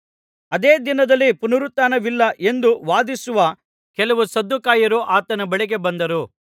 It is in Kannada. ಅದೇ ದಿನದಲ್ಲಿ ಪುನರುತ್ಥಾನವಿಲ್ಲ ಎಂದು ವಾದಿಸುವ ಕೆಲವು ಸದ್ದುಕಾಯರು ಆತನ ಬಳಿಗೆ ಬಂದರು